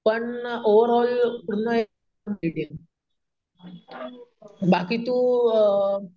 पण ओव्हरऑल पूर्ण एक बाकी तो अम,